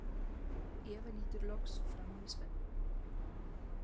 Eva lítur loks framan í Svenna.